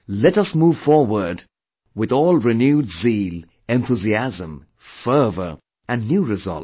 Let us move forward with all renewed zeal, enthusiasm, fervor and new resolve